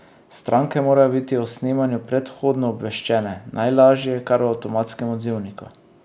Stranke morajo biti o snemanju predhodno obveščene, najlažje kar v avtomatskem odzivniku.